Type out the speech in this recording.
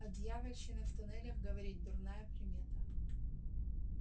о дьявольщине в туннелях говорить дурная примета